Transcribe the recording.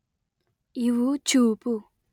ಇವು ಚೂಪು